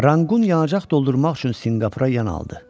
Ranqqun yanacaq doldurmaq üçün Sinqapura yanaldı.